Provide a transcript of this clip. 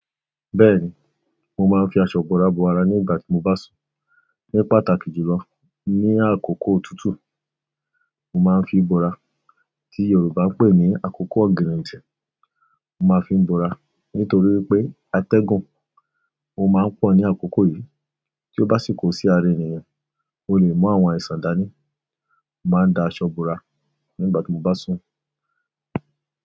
Bẹ́ẹ̀ni, mo máa ń fi aṣọ bora bo ara nígbà tí mo bá sùn. Ní pàtàkì jùlọ, ní àkókò òtútù, mo máa ń fi bora tí Yorùbá ń pè ní "àkókò ọ̀gírì ǹtì", mo máa ń fi bora. Nítorí pé atẹ́gùn ò máa ń pọ̀ ní àkókò yìí, tí ó bá sì kó sí ara ènìyàn, o le mú àwọn àìsàn dání. Mo máa ń da aṣọ búra nígbà tí mo bá sùn.